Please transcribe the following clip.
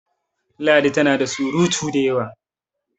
ladi tana da surutu da yawa!